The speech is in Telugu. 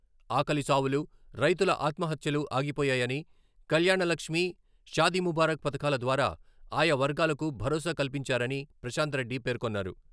ఆకలి చావులు, రైతుల ఆత్మహత్యలు ఆగిపోయాయని, కల్యాణలక్ష్మి, షాదీముబారక్ పథకాల ద్వారా ఆయా వర్గాలకు భరోసా కల్పించారని ప్రశాంత్రెడ్డి పేర్కొన్నారు.